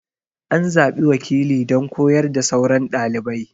An zaɓi wakili don koyar da sauran ɗalibai.